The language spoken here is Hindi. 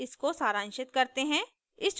इसको सारांशित करते हैं